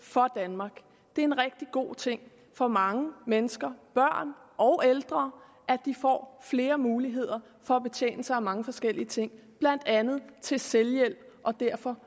for danmark det er en rigtig god ting for mange mennesker børn og ældre at de får flere muligheder for at betjene sig af mange forskellige ting blandt andet til selvhjælp og derfor